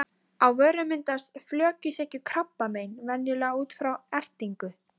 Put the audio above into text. Þjóðviljans sem og öðrum fyrirtækjum hreyfingarinnar, ofbauð loks framganga